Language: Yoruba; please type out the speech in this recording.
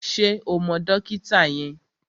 Ṣé o mọ dókítà yẹn?